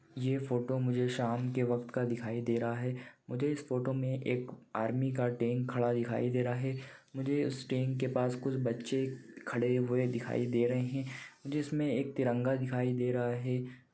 यह फोटो मुझे शाम के व्यक्त का दिखाई दे रहा है मुझे इस फोटो मे एक आर्मी का टें खड़ा दिखाई दे रहा है मुझे उस टेंक के पास कुछ बच्चे खड़े हुए दिखाई दे रहे है जिसमे एक तिरंगा दिखाई दे रहा है।